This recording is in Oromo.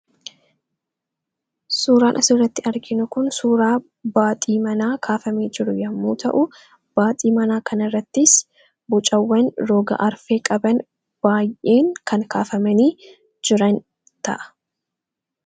Suuraan asirratti arginu kun suuraa baaxii manaa kaafamee jiru yommuu ta'u, baaxii manaa kanarrattis bocawwan roga arfee qaban baay'een kan kaafamanii jiran ta'a.